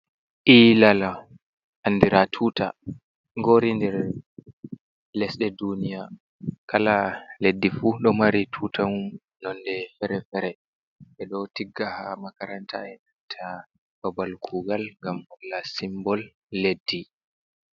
Ilala, andira tuta ngori nder lesɗe duniya kala leddi fu ɗo mari tutawal nonde fere-fere ɓeɗo tigga ha makaranta e nanta babal kugal, ngam holla simbol leddi.